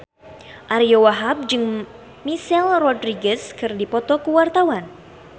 Ariyo Wahab jeung Michelle Rodriguez keur dipoto ku wartawan